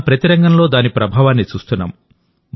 మనం ప్రతి రంగంలో దాని ప్రభావాన్ని చూస్తున్నాం